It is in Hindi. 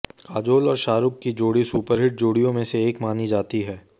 काजोल और शाहरुख की जोड़ी सुपरहिट जोड़ियों में से एक मानी जाती हैं